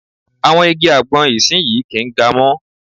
Àwọn igi àgbọn ìsinyii kì ń ga mọ́.